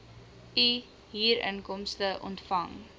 u huurinkomste ontvang